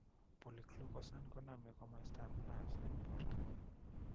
Polyglucosan koname komostap nerves en portap